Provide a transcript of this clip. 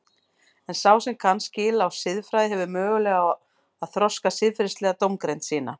En sá sem kann skil á siðfræði hefur möguleika á að þroska siðferðilega dómgreind sína.